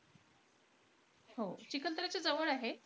हो. चिखलदऱ्याच्या जवळ आहे,